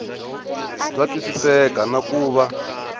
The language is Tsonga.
bya twisiseka na ku va